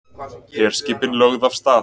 Herskipin lögð af stað